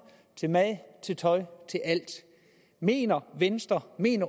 til mad og til tøj til alt mener